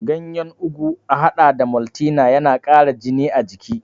Ganyar ugu a haɗa da maltina tana ƙara jini a jiki.